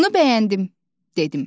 Bunu bəyəndim, dedim.